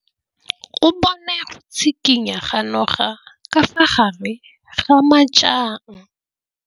O bone go tshikinya ga noga ka fa gare ga majang.